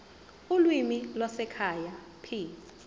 ulimi lwasekhaya p